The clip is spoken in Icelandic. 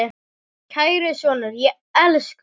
Kæri sonur, ég elska þig.